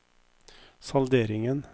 salderingen